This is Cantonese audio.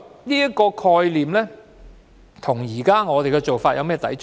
這個概念與我們的做法有何抵觸？